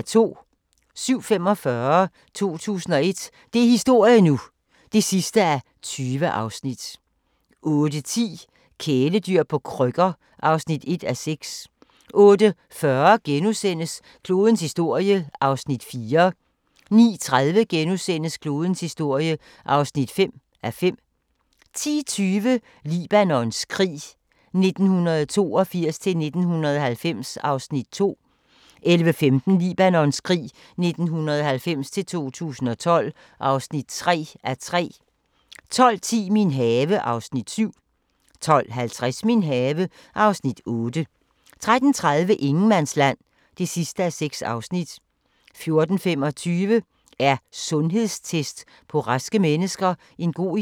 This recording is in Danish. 07:45: 2001 – det er historie nu! (20:20) 08:10: Kæledyr på krykker (1:6) 08:40: Klodens historie (4:5)* 09:30: Klodens historie (5:5)* 10:20: Libanons krig 1982-1990 (2:3) 11:15: Libanons krig 1990-2012 (3:3) 12:10: Min have (Afs. 7) 12:50: Min have (Afs. 8) 13:30: Ingenmandsland (6:6) 14:25: Er sundhedstest på raske mennesker en god idé?